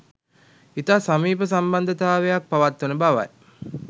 ඉතා සමීප සම්බන්ධතාවයක් පවත්වන බවයි